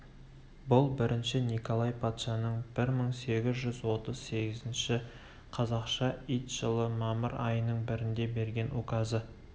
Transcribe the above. бұл бірінші николай патшаның бір мың сегіз жүз отыз сегізінші қазақша ит жылы мамыр айының бірінде берген указы